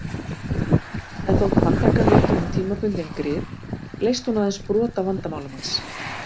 En þótt handtakan veitti honum tímabundin grið leysti hún aðeins brot af vandamálum hans.